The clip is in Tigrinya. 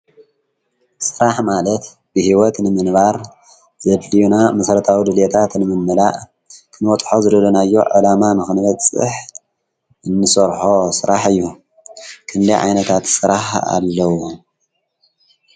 ስራሕ ማለት ብሂወት ንምንባር ዘድልዩና መሰረታዊ ድሌየታት ንምምላእ ክንበፅሖ ዝደለናዮ ዓላም ንክንበፅሕ እንሰርሖ ስራሕ እዩ። ክንደይ ዓይነታት ስራሕ ኣለው?